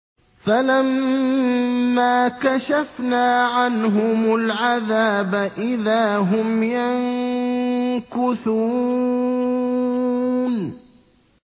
فَلَمَّا كَشَفْنَا عَنْهُمُ الْعَذَابَ إِذَا هُمْ يَنكُثُونَ